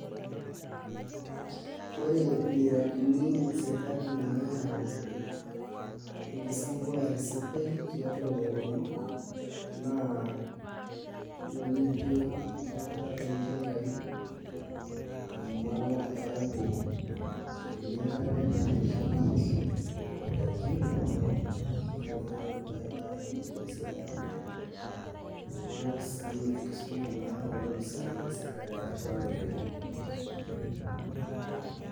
Ore miradini esirkali nayau enkisambuare sidai tiatua lairemok, naa nijo enkitobirata oltinkai amu eeku etumi enkare naitookie idaikin, irbaribarani tenesidanu, osii enkisuma naa olopisaani lesirkali atua lairemok.